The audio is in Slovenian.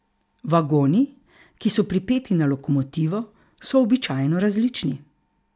Vagoni, ki so pripeti na lokomotivo, so običajno različni.